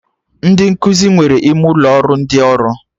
Ndị nkụzi nwere ime ụlọ ụrọ ndị ọrụ